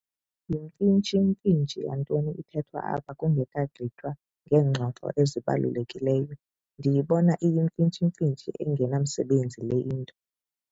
Yimfitshimfitshi yantoni ithethwa apha kungekagqitywa ngeengxoxo ezibalulekileyo? ndiyibona iyimfitshimfitshi engenamsebenzi le nto